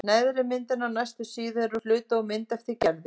Neðri myndin á næstu síðu er hluti úr mynd eftir Gerði.